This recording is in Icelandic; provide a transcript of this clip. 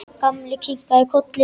Gamli kinkaði kolli.